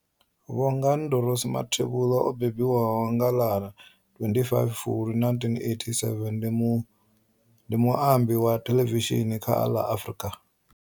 Bongani Dorothy Mathebula o mbembiwa nga ḽa 25 Fulwi 1987, ndi muambi wa thelevishini kha ḽa Afrika.